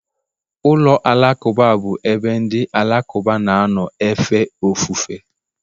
ụlọ alakụba bụ ebe ndị Alakụba na-anọ efe ofufe.